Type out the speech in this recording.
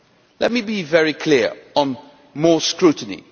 Let me be very clear on more scrutiny.